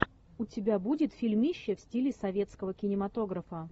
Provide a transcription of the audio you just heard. у тебя будет фильмище в стиле советского кинематографа